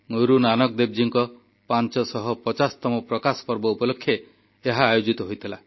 ଗୁରୁନାନକ ଦେବଜୀଙ୍କ 550ତମ ପ୍ରକାଶ ପର୍ବ ଉପଲକ୍ଷେ ଏହା ଆୟୋଜିତ ହୋଇଥିଲା